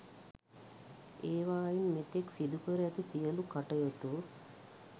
ඒවායින් මෙතෙක් සිදුකර ඇති සියලු කටයුතු